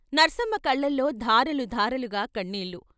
నర్సమ్మ కళ్ళలో ధారలు ధారలుగా కన్నీళ్ళు.